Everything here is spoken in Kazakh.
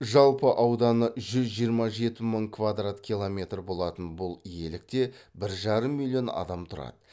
жалпы ауданы жүз жиырма жеті мың квадрат километр болатын бұл иелікте бір жарым миллион адам тұрады